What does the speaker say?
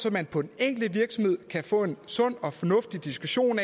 at man på den enkelte virksomhed kan få en sund og fornuftig diskussion